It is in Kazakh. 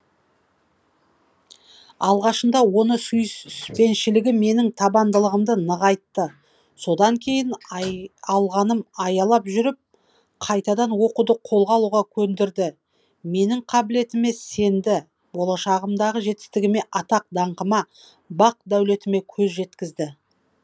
алғашында оның сүйіспеншілігі менің табандылығымды нығайтты содан кейін алғаным аялап жүріп қайтадан оқуды қолға алуға көндірді менің қабілетіме сенді болашағымдағы жетістігіме атақ даңқыма бақ дәулетіме көз жеткізді